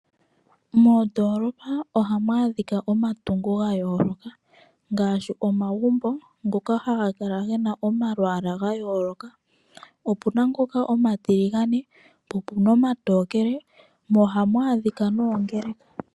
Moondolopa ohamu adhika omatungo ga yoloka ngashi omagumbo ngoka haga kala gena omalwala ga yoloka opuna ngoka omatiligane, po opuna omatokele mo ohamu adhika noongeleka.